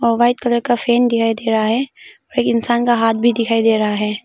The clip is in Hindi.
और वाइट कलर का फैन दिखाई दे रहा है और इंसान का हाथ भी दिखाई दे रहा है।